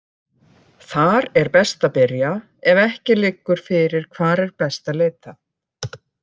Þar er best að byrja ef ef ekki liggur fyrir hvar er best að leita.